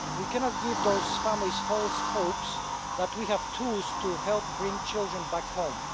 We cannot give those families false hope that we have tools to help bring children back home.